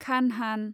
खानहान